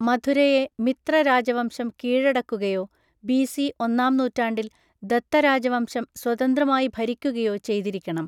മഥുരയെ മിത്ര രാജവംശം കീഴടക്കുകയോ ബിസി ഒന്നാം നൂറ്റാണ്ടിൽ ദത്തരാജവംശം സ്വതന്ത്രമായി ഭരിക്കുകയോ ചെയ്തിരിക്കണം.